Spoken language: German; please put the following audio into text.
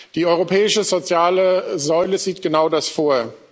Die europäische soziale Säule sieht genau das vor.